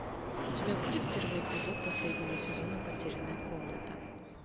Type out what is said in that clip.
у тебя будет первый эпизод последнего сезона потерянная комната